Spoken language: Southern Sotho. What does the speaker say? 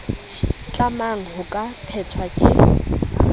tlamang ho ka phethwa ke